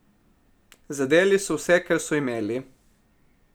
Zadeli so vse, kar so imeli ...